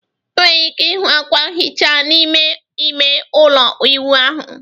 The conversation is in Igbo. ị nwere ike ịhụ akwa nhicha n'ime ime ụlọ ịwụ ahụ